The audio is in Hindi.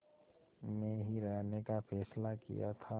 में ही रहने का फ़ैसला किया था